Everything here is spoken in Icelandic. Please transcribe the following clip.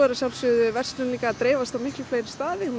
að sjálfsögðu verslun að dreifast á miklu fleiri staði hún